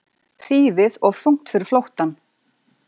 Þýfið of þungt fyrir flóttann